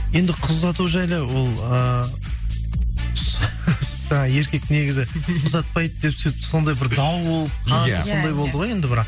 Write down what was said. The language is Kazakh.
енді қыз ұзату жайлы ол ыыы жаңа еркек негізі ұзатпайды деп сондай бір дауыл болып қанша сондай болды ғой енді бірақ